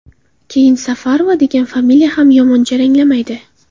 Keyin Safarova degan familiya ham yomon jaranglamaydi”.